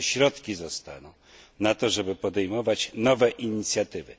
Jakie środki zostaną na to, żeby podejmować nowe inicjatywy?